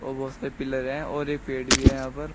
वो बहोत से पिलर है और एक बेड भी है यहां पर--